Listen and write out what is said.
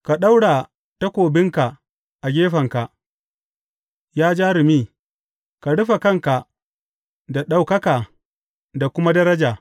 Ka ɗaura takobinka a gefenka, ya jarumi; ka rufe kanka da ɗaukaka da kuma daraja.